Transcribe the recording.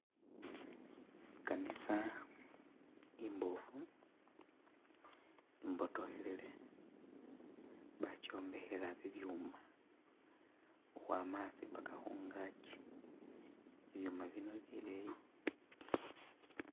I'kanisa imboofu imbotokhelele bakyombekhela bibyuma khukhwama asi paka khungaaki, ibyuuma bino bileyi.